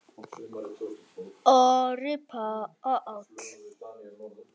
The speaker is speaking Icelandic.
Orri Páll.